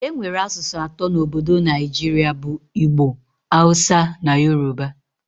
Enwere asụsụ atọ na Obodo Naijiria bụ Igbo, Hausa na Yoruba